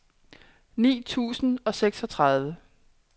ni tusind og seksogtredive